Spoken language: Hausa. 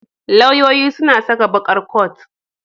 Lauyoyi suna saka baƙar coat.